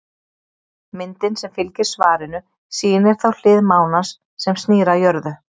Myndin sem fylgir svarinu sýnir þá hlið mánans sem snýr að jörðu.